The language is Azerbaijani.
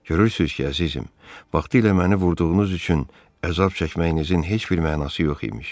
Görürsüz ki, əzizim, vaxtilə məni vurduğunuz üçün əzab çəkməyinizin heç bir mənası yox imiş.